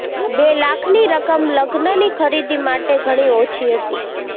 બે લાખની રકમ લગ્નની ખરીદી માટે ઘણી ઓછી હતી